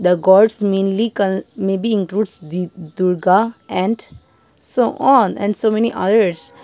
the gods mainly con may be includes the durga and so on and so many others.